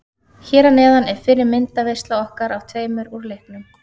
Hér að neðan er fyrri myndaveisla okkar af tveimur úr leiknum.